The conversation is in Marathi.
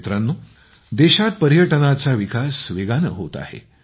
मित्रांनो देशात पर्यटनाचा विकास वेगाने होत आहे